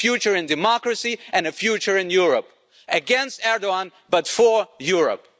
A future in democracy and a future in Europe, against Erdoğan but for Europe.